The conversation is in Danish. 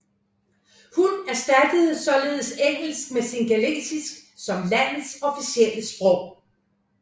Hun erstattede således engelsk med singalesisk som landets officielle sprog